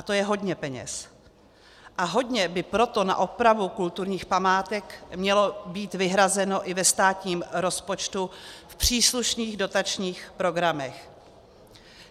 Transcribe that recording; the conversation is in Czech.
A to je hodně peněz, a hodně by proto na opravu kulturních památek mělo být vyhrazeno i ve státním rozpočtu v příslušných dotačních programech.